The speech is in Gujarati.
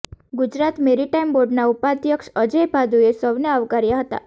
ગુજરાત મેરીટાઈમ બોર્ડના ઉપાધ્યક્ષ અજય ભાદુએ સૌને આવકાર્યા હતાં